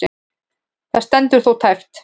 Það stendur þó tæpt.